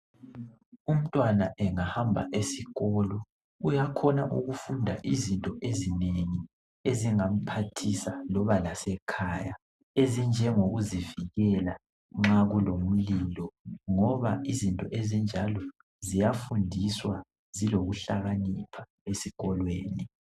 Umntwana engahamba esikolo, uyakhona ukufunda izinto ezinengi ezingamphathisa, loba lasekhaya, ezinjengokuzivikela nxa kulomlilo ngoba izinto ezinjalo ziyafundiswa zilokuhlakanipha esikolweni